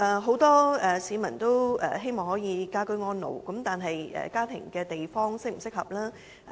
很多市民均希望可以居家安老，但居住的地方是否適合？